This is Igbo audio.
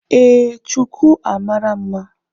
Ee, shuku a mara mma